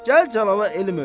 Gəl Cəlala elm öyrət.